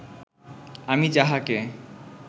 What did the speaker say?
আমি যাহাকে